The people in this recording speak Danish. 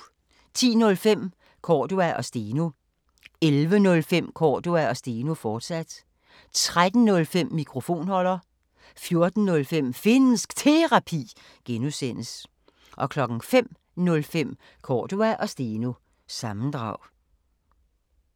10:05: Cordua & Steno 11:05: Cordua & Steno, fortsat 13:05: Mikrofonholder 14:05: Finnsk Terapi (G) 05:05: Cordua & Steno – sammendrag